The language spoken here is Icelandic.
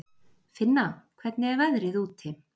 Finna, hvernig er veðrið úti?